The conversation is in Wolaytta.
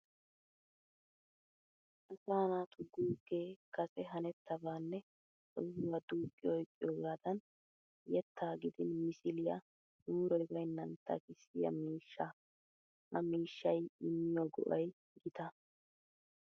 Asaa naatu guuggee kase hanettaba nne sohuwa duuqqi oyqqiyogaadan yettaa gidin misiliya mooroy baynnan takissiya miishshaa. Ha miishshay immiyo go'ay gita.